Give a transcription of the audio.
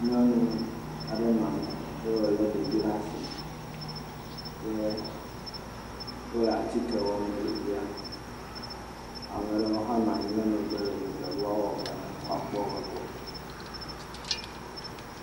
Nyɔnu aɖe nɔ anyi eye wòlé ɖevi ɖe asi. Yɛ wole atike wɔm na ɖevia. Ame ɖewo hã nɔ anyi ɖe megbe le dzɔdzɔ be woawɔ vɔ na woakpɔ woƒe gbɔ.